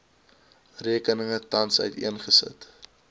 rekeninge tans uiteengesit